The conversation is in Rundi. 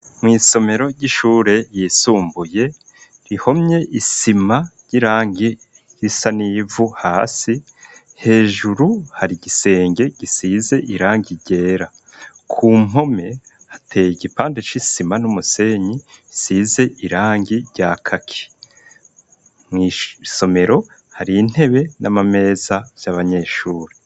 Mw'isomero ry'ishure ryisumbuye rihomye isima ry'irangi risa n'ivu hasi, hejuru hari igisenge gisize irangi ryera, ku mpome hateye igipande c'isima n'umusenyi bisize irangi rya kaki, mw'isomero hari intebe n'amameza vy'abanyeshure.